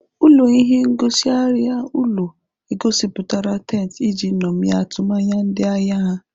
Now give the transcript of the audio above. Ụlọ ihe ngosi arịa ụlọ egosipụtara tent iji ṅomie atụmanya ndị ahịa ha.